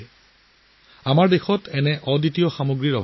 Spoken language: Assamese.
আমাৰ দেশত এনে অনন্য সামগ্ৰীৰ অভাৱ নাই